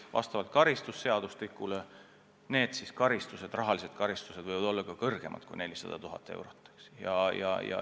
Ja karistused kuritegude eest võivad vastavalt karistusseadustikule olla ka karmimad kui 400 000 eurot.